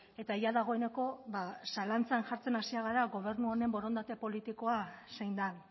eta jada dagoeneko ba zalantzan jartzen hasia gara gobernu honen borondate politikoa zein den